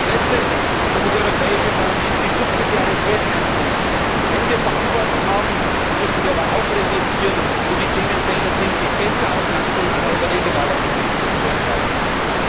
Und als Letztes muss das Europäische Parlament die Subsidiarität ernst nehmen. Wenn wir Verantwortung haben, dann müssen wir aber auch reflektieren, wo die Themenfelder sind, die besser auf nationaler oder regionaler Ebene zu entscheiden sind.